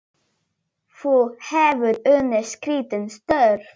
Þú hefur unnið skrítin störf?